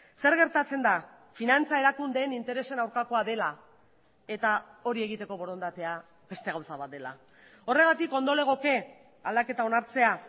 zer gertatzen da finantza erakundeen interesen aurkakoa dela eta hori egiteko borondatea beste gauza bat dela horregatik ondo legoke aldaketa onartzea